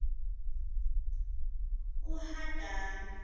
uhadani